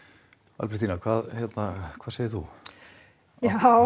Albertína hvað hvað segir þú jahá